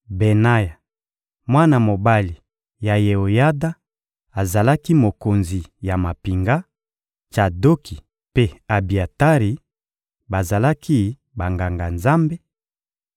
Benaya, mwana mobali ya Yeoyada, azalaki mokonzi ya mampinga; Tsadoki mpe Abiatari, bazalaki Banganga-Nzambe;